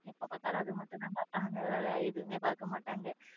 எப்போ பார்த்தாலும் அதை மட்டும் தான் பார்ப்பான் வேறு எதுவுமே பார்க்க மாட்டாங்க.